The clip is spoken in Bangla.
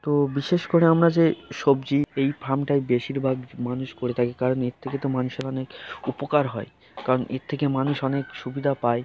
তো বিশেষ করে আমরা যে সবজি এই ফার্ম -টা বেশির ভাগ মানুষ করে থাকি কারণ এর থেকে মানুষের অনেক উপকার হয় কারণ এর থেকে মানুষ অনেক সুবিধা পায়।